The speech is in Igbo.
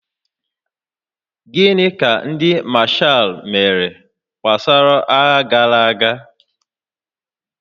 Gịnị ka ndị mashaal mere gbasara agha gara aga?